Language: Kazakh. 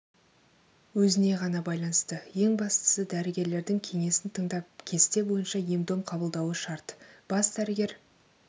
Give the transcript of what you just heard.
өзіне ғана байланысты ең бастысы дәрігерлердің кеңесін тыңдап кесте бойынша ем-дом қабылдауы шарт бас дәрігер